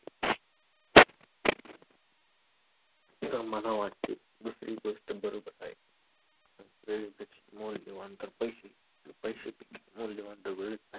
मला वाटते की दुसरी गोष्ट बरोबर आहे. वेळेपेक्षा मौल्यवान तर पैशे आणि पैशेपेक्षा मौल्यवान तर वेळच आहे.